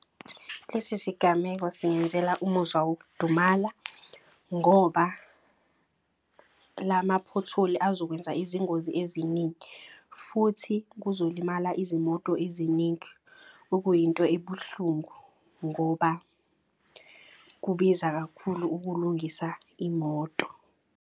Lesi sigameko singenzela umuzwa wokudumala ngoba lamaphotholi azokwenza izingozi eziningi. Futhi kuzolimala izimoto eziningi okuyinto ebuhlungu. Ngoba kubiza kakhulu ukulungisa imoto.